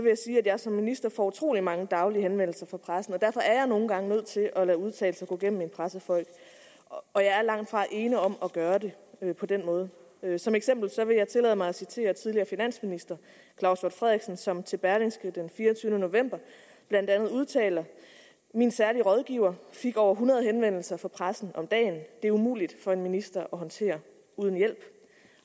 jeg sige at jeg som minister får utrolig mange daglige henvendelser fra pressen og derfor er jeg nogle gange nødt til at lade udtalelser gå gennem mine pressefolk og jeg er langtfra ene om at gøre det på den måde som eksempel vil jeg tillade mig at citere den tidligere finansminister claus hjort frederiksen som til berlingske tidende den fireogtyvende november blandt andet udtaler min særlige rådgiver fik over hundrede henvendelser fra pressen om dagen det er umuligt for en minister at håndtere uden hjælp